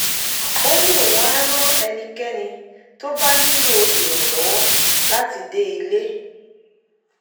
ó ní òun á ran ẹnikẹ́ni tó bá nílò ìrànlọ́wọ́ láti dé ilé